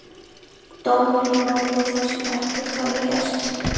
Dómur í máli þar sem ekkert hafði gerst.